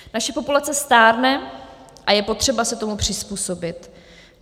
Naše populace stárne a je potřeba se tomu přizpůsobit.